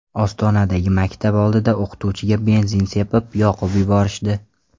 Ostonadagi maktab oldida o‘qituvchiga benzin sepib, yoqib yuborishdi.